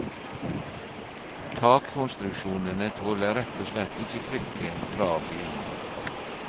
Takkonstruksjonene tåler rett og slett ikke trykket fra bilene.